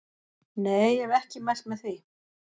Nei ég hef ekki mælt með því.